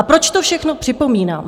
A proč to všechno připomínám?